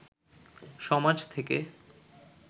সমাজ থেকে